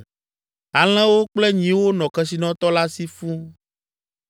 Alẽwo kple nyiwo nɔ kesinɔtɔ la si fũu,